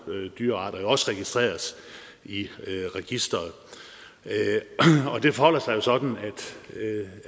dyrearter også registreres i registeret det forholder sig sådan